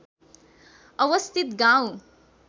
अवस्थित गाउँ